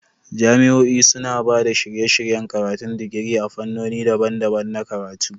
Jami'o'i suna ba da shirye-shiryen karatun digiri a fannoni daban-daban na karatu.